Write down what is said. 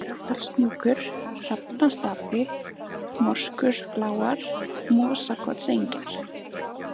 Glerárdalshnjúkur, Hrafnastapi, Morskorufláar, Mosakotsengjar